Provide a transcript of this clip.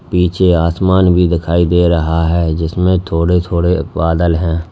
पीछे आसमान भी दिखाई दे रहा है जिसमें थोड़े थोड़े बादल है।